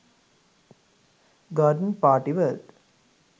garden party world